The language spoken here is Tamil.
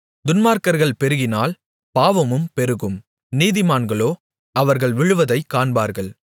துன்மார்க்கர்கள் பெருகினால் பாவமும் பெருகும் நீதிமான்களோ அவர்கள் விழுவதைக் காண்பார்கள்